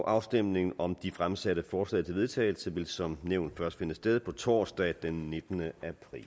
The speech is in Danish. afstemningen om de fremsatte forslag til vedtagelse vil som nævnt først finde sted på torsdag den nittende